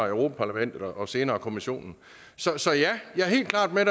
i europa parlamentet og senere i kommissionen så ja jeg er helt klart med